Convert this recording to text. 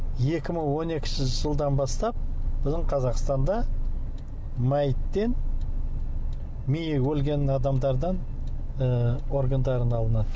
екі мың он екінші жылдан бастап біздің қазақстанда мәйіттен миы өлген адамдардан ы органдары алынады